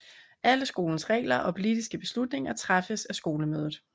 Alle skolens regler og politiske beslutninger træffes af skolemødet